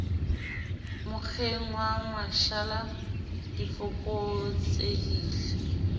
mokgeng wa mashala di fokotsehile